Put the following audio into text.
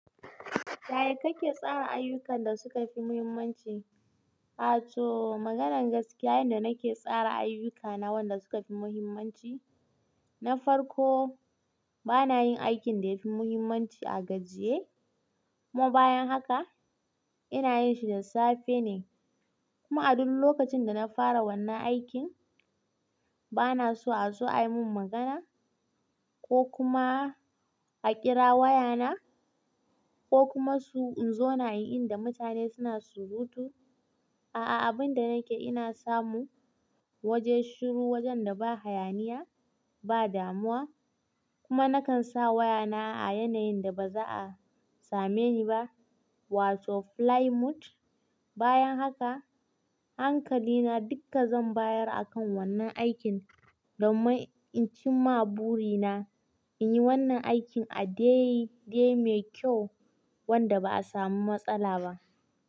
Yaya kake tsara ayyukan da suka fi muhimmanci? A to maganar gaskiya, yanda nake tsara ayyukana wanda suka fi muhimmanci, na farko bana yin aikin da ya fi muhimmanci a gajiye. Kuma bayan haka ina yin shi da safe ne. Kuma a duk lokacin da na fara wannan aikin bana so a zo ai mun magana ko kuma a ƙira wayana ko kuma su in zo na in inda mutane suna surutu. A'a abin da nake ina samu waje shiru, wajen da ba hayaniya, ba damuwa kuma nakan sa wayana a yanayin da ba za a same ni ba wato flight mode. Bayan haka hankali na dukka zan bayar akan wannan aikin domin in cimma buri na in yi wannan aikin a dai dai mai kyau wanda ba a samu matsala ba.